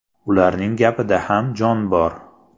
Ularning gapida ham jon bor.